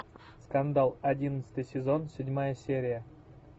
скандал одиннадцатый сезон седьмая серия